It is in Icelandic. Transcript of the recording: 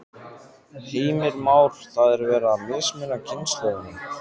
Heimir Már: Það er verið að mismuna kynslóðunum?